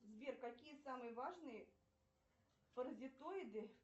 сбер какие самые важные паразитоиды